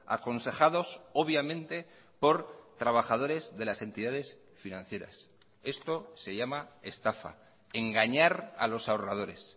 aconsejados obviamente por trabajadores de las entidades financieras esto se llama estafa engañar a los ahorradores